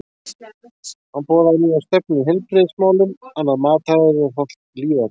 Hann boðaði nýja stefnu í heilbrigðismálum, annað mataræði og hollt líferni.